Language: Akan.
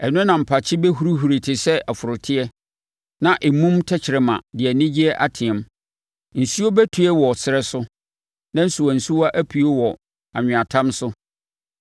Ɛno na mpakye bɛhurihuri te sɛ ɔforoteɛ, na emum tɛkrɛma de anigyeɛ ateam. Nsuo bɛtue wɔ ɛserɛ so, na nsuwansuwa apue wɔ anweatam so.